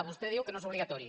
vostè diu que no és obligatori